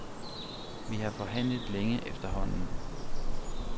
Vi har forhandlet længe efterhånden.